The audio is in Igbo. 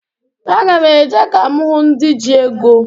Aga m e je ka m hụ ndị ji ego.